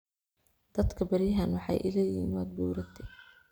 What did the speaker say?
Dadka beriyahan waxai iileyihin waad buurate.